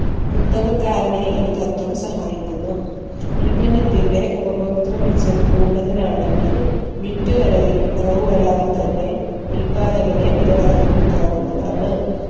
കുത്തകക്കാരനെ ഈ തത്വം സഹായിക്കുന്നു ഉൽപ്പന്നത്തിന്റെ ഉപഭോക്തൃ മിച്ചം കൂടുതലാണെങ്കിൽ വിറ്റു വരവിൽ കുറവ് വരാതെ തന്നെ ഉൽപ്പാദകന് വില വർധിപ്പിക്കാവുന്നതാണ്